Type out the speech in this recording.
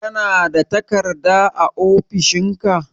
Kana da takarda a ofishin ka?